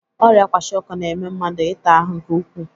Ọrịa kwashịọkọ na-eme mmadụ ịta ahụ nke ukwuu.